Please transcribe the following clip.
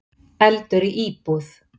Eldur í íbúð